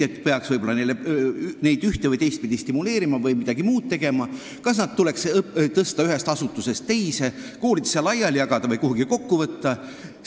–, et peaks neid üht- või teistpidi stimuleerima või midagi muud tegema, kas tuleks nad ühest asutusest teise tõsta, koolidesse laiali jagada või kuhugi kokku võtta.